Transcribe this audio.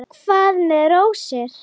Hvað með rósir?